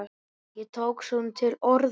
Ég tók svona til orða.